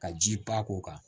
Ka ji pan k'o kan